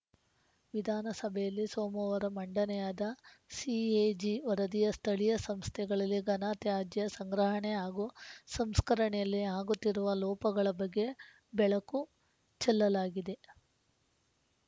ವಿಧಾನಸಭೆಯಲ್ಲಿ ಸೋಮವಾರ ಮಂಡನೆಯಾದ ಸಿಎಜಿ ವರದಿಯ ಸ್ಥಳೀಯ ಸಂಸ್ಥೆಗಳಲ್ಲಿ ಘನ ತ್ಯಾಜ್ಯ ಸಂಗ್ರಹಣೆ ಹಾಗೂ ಸಂಸ್ಕರಣೆಯಲ್ಲಿ ಆಗುತ್ತಿರುವ ಲೋಪಗಳ ಬಗ್ಗೆ ಬೆಳಕು ಚೆಲ್ಲಲಾಗಿದೆ